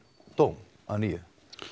dóm að nýju